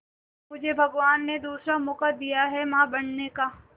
मुझे भगवान ने दूसरा मौका दिया है मां बनने का